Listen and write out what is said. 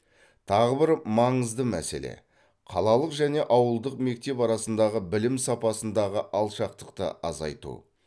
тағы бір маңызды мәселе қалалық және ауылдық мектеп арасындағы білім сапасындағы алшақтықты азайту